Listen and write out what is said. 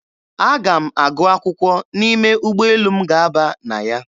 Aga m agụ akwụkwọ n'ime ụgbọelu m ga-aba na ya.